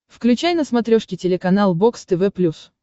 включай на смотрешке телеканал бокс тв плюс